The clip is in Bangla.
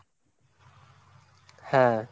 হ্যাঁ।